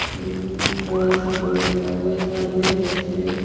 बड़ा सा बोर्ड लगा हुआ है सामने जिसमें--